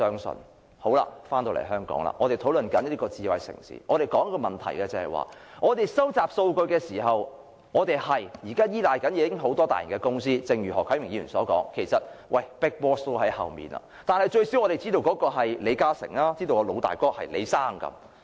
說回香港，在智慧城市這個問題上，我們在收集數據時，現時確實依賴很多大型公司，而正如何啟明議員所說，其實是有 big boss 在後面，但最少我們知道那是李嘉誠，知道老大哥是李先生。